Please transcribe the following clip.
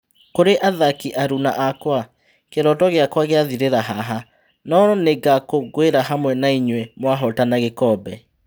Kũrĩ athaki aruna akwa, kĩ roto gĩ akwa gĩ athirĩ ra haha, no nĩ ngakũngũĩ ra hamwe nainyuĩ mwahotana gĩ kombe.